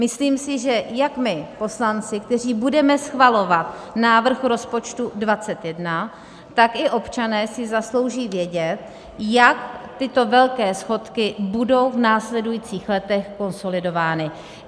Myslím si, že jak my poslanci, kteří budeme schvalovat návrh rozpočtu 2021, tak i občané si zaslouží vědět, jak tyto velké schodky budou v následujících letech konsolidovány.